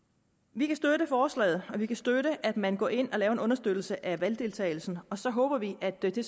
vi kan støtte forslaget og vi kan støtte at man går ind og laver en understøttelse af valgdeltagelsen og så håber vi at det det